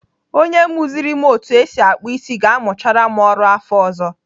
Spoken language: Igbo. Onye muziri m otu esi akpụ isi ga-amuchara m ọrụ afọ ọzọ.